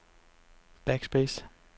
backspace